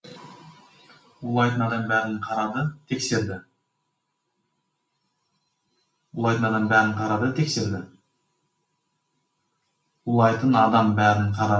улайтын адам бәрін қарады тексерді